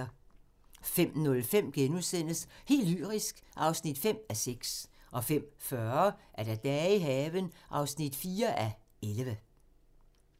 05:05: Helt lyrisk (5:6)* 05:40: Dage i haven (4:11)